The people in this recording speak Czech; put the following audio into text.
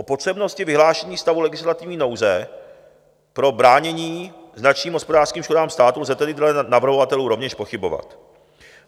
O potřebnosti vyhlášení stavu legislativní nouze pro bránění značným hospodářským škodám státu lze tedy dle navrhovatelů rovněž pochybovat.